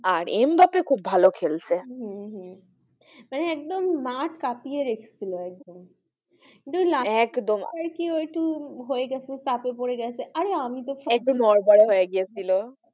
আর এম বাফে খুব ভালো খেলছে ম হম মানে একদম মাঠ কাঁপিয়ে রেখে ছিলো একদম একদম আর কি ও একটু হয়েগেছে চাপে পড়ে গেছে আরে আমি তো একটু নড়বড়ে হয়ে গিয়েছিল,